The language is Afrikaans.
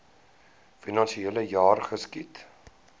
finansiele jaar geskied